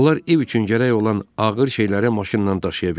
Onlar ev üçün gərək olan ağır şeyləri maşınla daşıya bilərdilər.